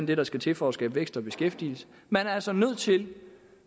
det der skal til for at skabe vækst og beskæftigelse man er altså nødt til